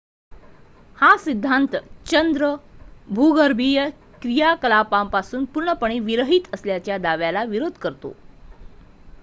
हा सिद्धांत चंद्र भूगर्भीय क्रियाकलापांपासून पूर्णपणे विरहित असल्याच्या दाव्याला विरोध करतो